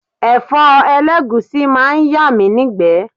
Ẹ̀fọ́ elegusi máa ń yà mí ni'gbe.